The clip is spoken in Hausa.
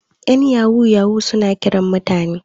yan yahu suna Kiran mutane